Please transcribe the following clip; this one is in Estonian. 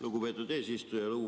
Lugupeetud eesistuja!